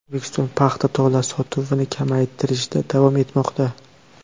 O‘zbekiston paxta tolasi sotuvini kamaytirishda davom etmoqda.